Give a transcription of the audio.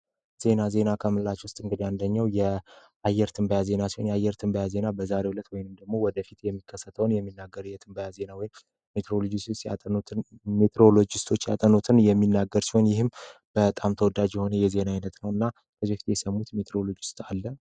ዜናዜና ከምላች ውስጥ እንግድ ያንደኘው የአየር ትንባያዜና ሲሆን የአየር ትንባያ ዜና በዛሬው ሁለት ወይን እንደግሞ ወደ ፊት የሚከሰተውን የሚናገር የትንባያዜና ን ሜትሮሎጅስቶች ያጠኖትን የሚናገር ሲሆን ይህም በጣም ተወዳጅ የሆነ የዜና ዓይነት ነው እና ከዚያ ፊቴ የሰሙት ሜትሮሎጅስቶ አለ?